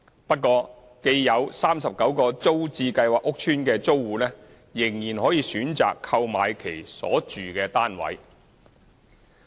不過，既有39個租置計劃屋邨的租戶仍可選擇購買其所住單位。